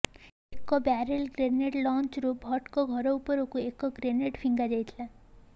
ଏକ barrel grenade ଲଞ୍ଚରରୁ ଭଟ୍ଟଙ୍କ ଘର ଉପରକୁ ଏକ ଗ୍ରେନେଡ୍ ଫିଙ୍ଗାଯାଇଥିଲା